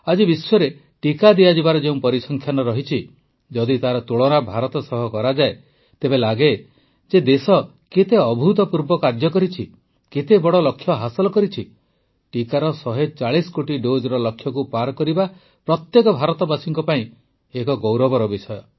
ଆଜି ବିଶ୍ୱରେ ଟିକା ଦିଆଯିବାର ଯେଉଁ ପରିସଂଖ୍ୟାନ ଅଛି ଯଦି ତାର ତୁଳନା ଭାରତ ସହ କରାଯାଏ ତେବେ ଲାଗେ ଯେ ଦେଶ କେତେ ଅଭୁତପୂର୍ବ କାର୍ଯ୍ୟ କରିଛି କେତେ ବଡ଼ ଲକ୍ଷ୍ୟ ହାସଲ କରିଛି ଟିକାର ୧୪୦ କୋଟି ଡୋଜ୍ ଲକ୍ଷ୍ୟକୁ ପାରି କରିବା ପ୍ରତ୍ୟେକ ଭାରତବାସୀଙ୍କ ପାଇଁ ଏକ ଗୌରବର ବିଷୟ